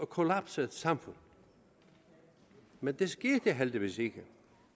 kollapset samfund men det skete heldigvis ikke